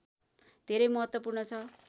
धेरै महत्त्वपूर्ण छ